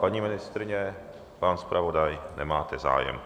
Paní ministryně, pan zpravodaj, nemáte zájem.